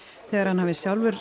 þegar hann hafi sjálfur